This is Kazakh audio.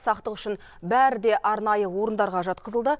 сақтық үшін бәрі де арнайы орындарға жатқызылды